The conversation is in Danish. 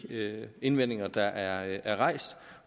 indvendinger der er rejst